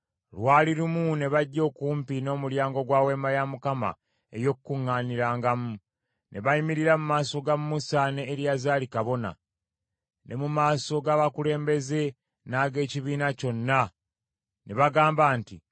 Lwali lumu, ne bajja okumpi n’omulyango gwa Weema ey’Okukuŋŋaanirangamu, ne bayimirira mu maaso ga Musa ne Eriyazaali kabona, ne mu maaso g’abakulembeze n’ag’ekibiina kyonna, ne bagamba nti,